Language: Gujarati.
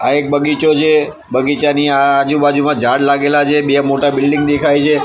આ એક બગીચો છે બગીચાની આ આજુ-બાજુમાં ઝાડ લાગેલા છે બે મોટા બિલ્ડીંગ દેખાય છે.